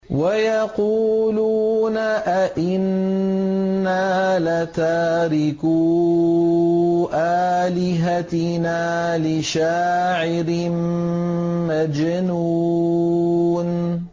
وَيَقُولُونَ أَئِنَّا لَتَارِكُو آلِهَتِنَا لِشَاعِرٍ مَّجْنُونٍ